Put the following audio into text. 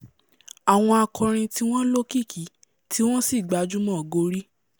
àwọn akọrin tí wọ́n lókìkí tí wọ́n sì gbajúmọ̀ gorí